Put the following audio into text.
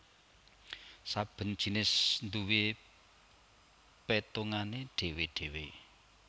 Saben jinis nduwé pétungané dhéwé dhéwé